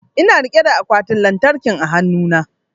Ina rike da akwatin lantarkin a hanu na